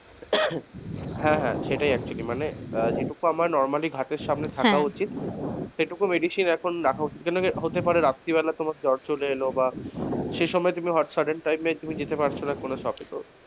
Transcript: হ্যাঁ হ্যাঁ সেটাই actually মানে যেটুকু normally হাতের সামনে থাকা উচিত হ্যাঁ সেটুকু medicine এখন রাখা উচিত কেন কি হতে পারে রাত্রীবেলা তোমার জ্বর চলে এলো বা সেইসময় তুমি hot sudden, time এ তুমি যেতে পারছোনা shop এ তো,